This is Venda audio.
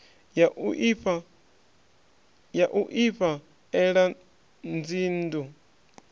ya u ifha ela dzinnḓu